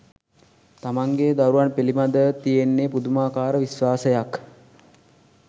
තමන්ගෙ දරුවන් පිළිබදව තියෙන්නෙ පුදුමාකාර විශ්වාසයක්.